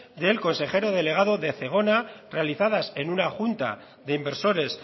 del consejero delegado de zegona realizadas en una junta de inversores